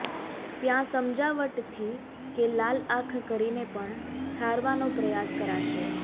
ત્યાં સમજાવટથી કે લાલ આંખ કરીને પણ ઠારવાનો પ્રયાસ કરાશે